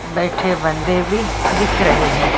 बैठे बंदे भी दिख रहे हैं।